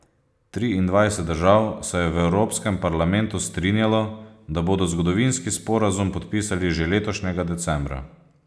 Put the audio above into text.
Triindvajset držav se je v Evropskem parlamentu strinjalo, da bodo zgodovinski sporazum podpisali že letošnjega decembra.